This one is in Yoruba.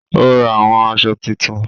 Ó ra àwọn aṣọ titun